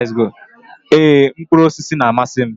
Ee, mkpụrụ osisi na-amasị m.